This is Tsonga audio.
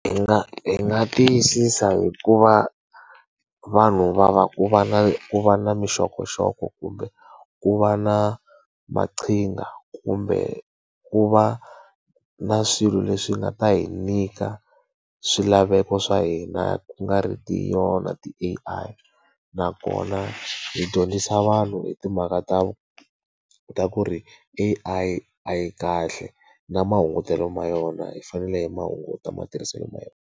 Hi nga hi nga tiyisisa hi ku va vanhu va va ku va na ku va na minxokoxoko kumbe ku va na maqhinga, kumbe ku va na swilo leswi nga ta hi nyika swilaveko swa hina ku nga ri ti yona ti-A_I. Nakona hi dyondzisa vanhu hi timhaka ta ta ku ri A_I a yi kahle na mahungutelo ma yona, hi fanele hi ma hunguta matirhiselo ma yona.